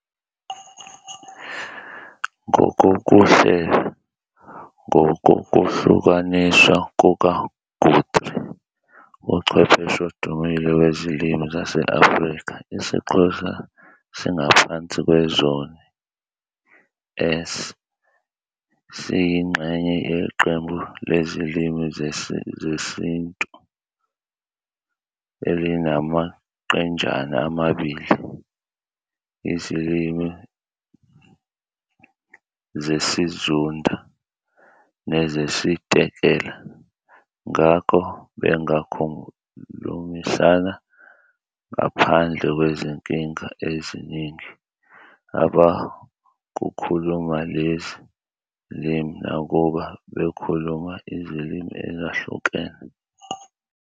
Ngokokuhlela, ngokokuhlukaniswa kukaGuthrie, uchwepheshe odumile wezilimi zase-Afrika, isiXhosa singaphansi kwezoni S. Siyingxenye yeqembu leZilimi zesiNtu elinamaqenjana amabili- iziLimi zesiZunda nezesiTekela. Ngakho, bangakhulumisana ngaphandle kwezinkinga eziningi abakuluma lezi zilimi nakuba bekhuluma izilimi ezahlukene.